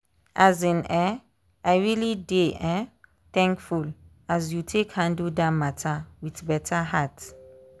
um i really dey um thankfull as you take handle that matter with better heart.